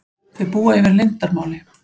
Þau búa yfir leyndarmáli.